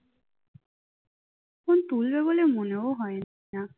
phone তুলবে বলে মনেও হয় না